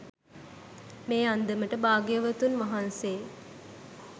මේ අන්දමට භාග්‍යවතුන් වහන්සේ